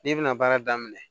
N'i bɛna baara daminɛ